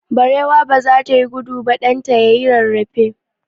Barewa baza ta yi gudu ba, ɗan ta yayi rarrafe.